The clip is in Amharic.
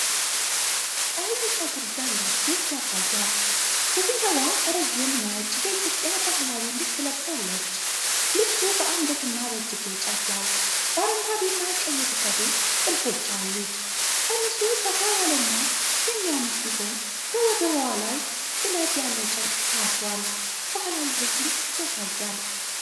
ቀይ ፀጉር ያላት ሴት ያሳያል። ሴትየዋ ረዥም ነጭ የኢትዮጵያ ባህላዊ ልብስ ለብሳለች። ልብሱ በአንገትና በእጅጌው ጫፍ ላይ በአረንጓዴና ቀይ የተሠሩ ጥልፎች አሉት። ቀሚሱ ሰፋ ያለና የሚያምር ሲሆን በወገብዋ ላይ ጥለት ያለው ጨርቅ ታስሯል። ባህላዊ ውበትን ያሳያል።